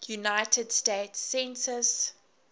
united states census